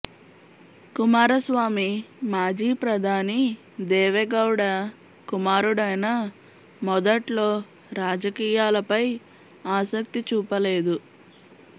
కుమారస్వామి మాజీ ప్రధాని దేవెగౌడ కుమారుడైనా మొదట్లో రాజకీయాలపై ఆసక్తి చూపలేదు